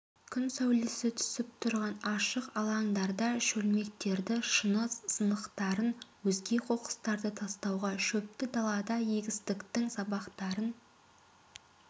күн саулесі түсіп тұрған ашық алаңдарда шөлмектерді шыны сынықтарын өзге қоқыстарды тастауға шөпті далада егістіктің сабақтарын